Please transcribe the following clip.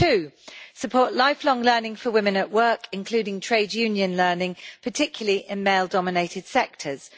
Secondly, support lifelong learning for women at work, including trade union learning, particularly in male dominated sectors.